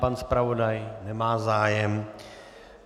Pan zpravodaj - nemá zájem.